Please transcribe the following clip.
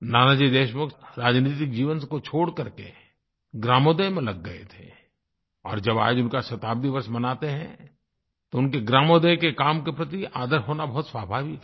नानाजी देशमुख राजनीतिक जीवन को छोड़ करके ग्रामोदय में लग गए थे और जब आज उनका शताब्दीवर्ष मनाते हैं तो उनके ग्रामोदय के काम के प्रति आदर होना बहुत स्वाभाविक है